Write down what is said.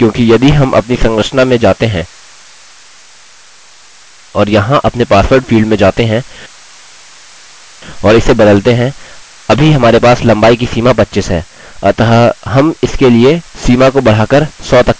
ऐसा इसलिए क्योंकि यदि हम अपनी संरचना में जाते हैं और यहाँ अपने पासवर्ड फील्ड में जाते हैं और इसे बदलते हैं अभी हमारे पास लम्बाई की सीमा 25 है